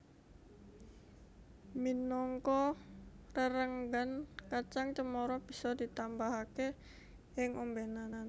Minangka rerenggan kacang cemara bisa ditambahake ing ombenan